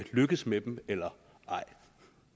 lykkedes med eller ej